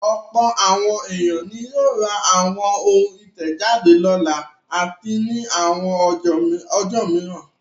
Ọ̀pọ̀ àwọn ènìyàn ni yóò ra àwọn ohun ìtẹ̀jáde lọ́la àti ní àwọn ọjọ́ mìíràn.